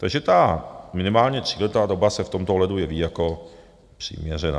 Takže ta minimálně tříletá doba se v tomto ohledu jeví jako přiměřená.